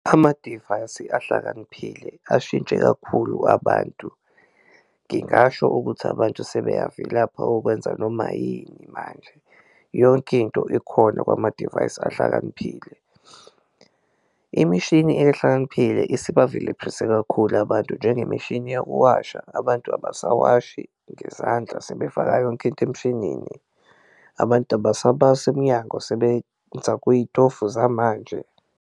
Amadivayisi ahlakaniphile ashintshe kakhulu abantu ngingasho ukuthi abantu sebeyavilapha ukwenza noma yini manje, yonke into ikhona kwamadivayisi ahlakaniphile. Imishini ehlakaniphile isibavilephise kakhulu abantu njengemishini yokuwasha, abantu abasawashi ngezandla sebefaka yonke into emshinini, abantu abasabasi emnyango sebenza kuyitofu zamanje.